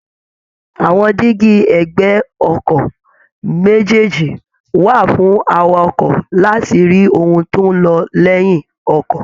Àwọn díígí ẹ̀gbẹ́ọkọ̀ méjèèjì wà fún awakọ láti rí ohun tó ń lọ lẹ́yìn ọkọ̀